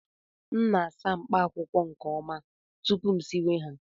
M na-asa mkpaakwụkwọ nke ọma tupu m siwe ha